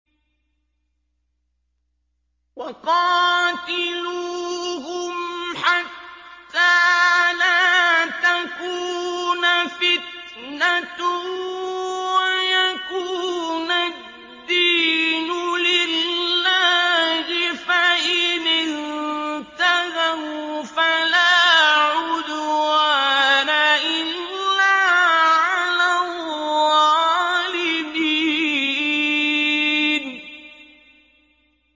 وَقَاتِلُوهُمْ حَتَّىٰ لَا تَكُونَ فِتْنَةٌ وَيَكُونَ الدِّينُ لِلَّهِ ۖ فَإِنِ انتَهَوْا فَلَا عُدْوَانَ إِلَّا عَلَى الظَّالِمِينَ